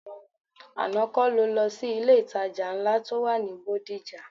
Àná kọ́ ni o lọ sí ilé-ìtajà ńlá tó wà ní Bódìjà?